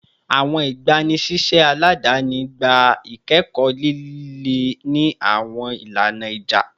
Awọn igbanisiṣẹ aladani gba ikẹkọ lile ni awọn ilana ija